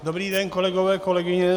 Dobrý den, kolegové, kolegyně.